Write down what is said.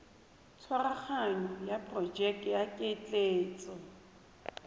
tshwaraganyo ya porojeke ya ketleetso